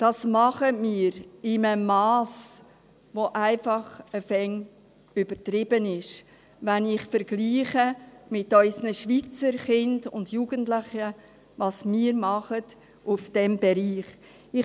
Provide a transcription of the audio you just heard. Das tun wir in einem Mass, das einfach langsam übertrieben ist, wenn ich mit unseren Schweizer Kindern und Jugendlichen vergleiche und sehe, was wir in diesem Bereich tun.